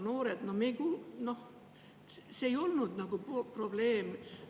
See ei olnud nagu varem probleem.